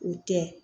O tɛ